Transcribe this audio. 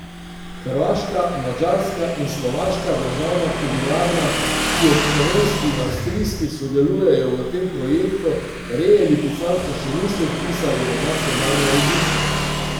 Hrvaška, madžarska in slovaška državna kobilarna, ki ob slovenski in avstrijski sodelujejo v tem projektu, reje lipicanca še niso vpisale v nacionalne registre.